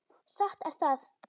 Satt er það.